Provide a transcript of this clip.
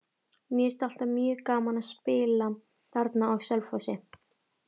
Mér finnst alltaf mjög gaman að spila þarna á Selfossi.